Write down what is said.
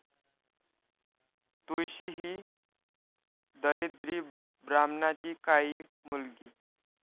तुळशी ही दरिद्री ब्राह्मणाची काळी मुलगी.